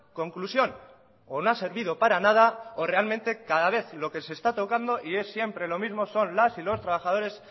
conclusión o no ha servido para nada o realmente cada vez lo que se está tocando y es siempre lo mismo son las y los trabajadores